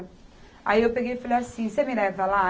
Aí, eu peguei e falei assim, você me leva lá?